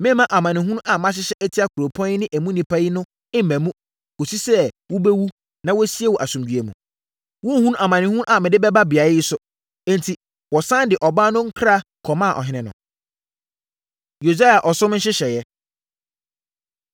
Meremma amanehunu a mahyehyɛ atia kuropɔn yi ne emu nnipa no mma mu, kɔsi sɛ wobɛwu na wɔasie wo asomdwoeɛ mu. Worenhunu amanehunu a mede bɛba beaeɛ yi so.’ ” Enti, wɔsane de ɔbaa no nkra kɔmaa ɔhene no. Yosia Ɔsom Nhyehyɛeɛ